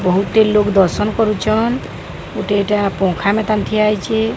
ବହୁତି ଲୋକ୍ ଦର୍ଶନ କରୁଛନ୍ ଗୋଟେ ଏଇଟା ପଙ୍ଖା ମେକାନିକ୍ ଠିଆ ହେଇଛି।